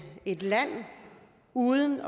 et land uden